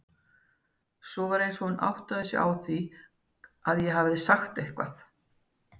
Svo var eins og hún áttaði sig á því að ég hefði sagt eitthvað.